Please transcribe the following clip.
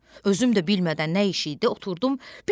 Özüm də bilmədən nə iş idi, oturdum.